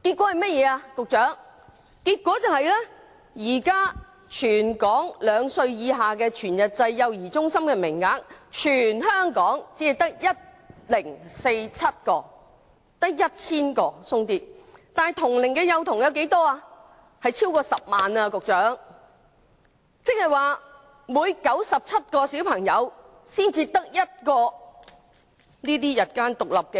結果現時兩歲以下全日制幼兒中心的名額，全港只有 1,047 個，即只有 1,000 多個，但同齡幼童卻有超過10萬人，即每97個幼童才有1個全日制